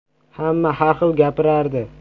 Hamma har xil gapirardi.